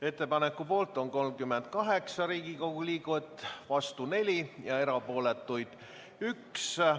Ettepaneku poolt on 38 Riigikogu liiget, vastuolijaid 4 ja erapooletuid 1.